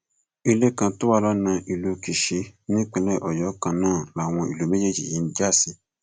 ilé kan tó wà lọnà ìlú kíṣì ní ìpínlẹ ọyọ kan náà làwọn ìlú méjèèjì yìí ń já sí